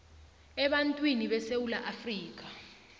ebantwini besewula afrika